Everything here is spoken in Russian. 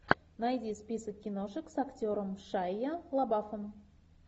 найди список киношек с актером шайа лабафом